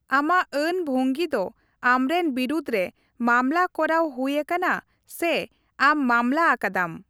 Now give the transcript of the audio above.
ᱟᱢᱟᱜ ᱟᱹᱱ ᱵᱷᱝᱜᱤ ᱫᱚ ᱟᱢᱨᱮᱱ ᱵᱤᱨᱩᱫᱷ ᱨᱮ ᱢᱟᱢᱞᱟ ᱠᱚᱨᱟᱣ ᱦᱩᱭ ᱟᱠᱟᱱᱟ ᱥᱮ ᱟᱢ ᱢᱟᱢᱞᱟ ᱟᱠᱟᱫᱟᱢ ᱾